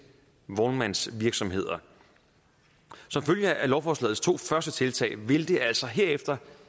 vognmandsvirksomheder som følge af lovforslagets to første tiltag vil det altså herefter